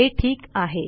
हे ठीक आहे